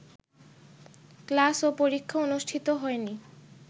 class ও পরীক্ষা অনুষ্ঠিত হয়নি